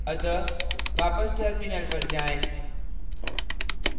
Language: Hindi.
अतः वापस terminal पर जाएँ